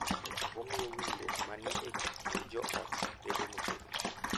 Omiyo winjruok ma ni e kind jo ot bedo motegno.